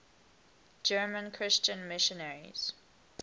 german christian missionaries